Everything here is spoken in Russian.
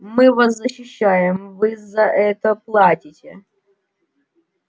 мы вас защищаем вы за это платите